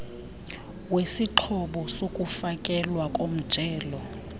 wesixhobo sokufakelwa komjelo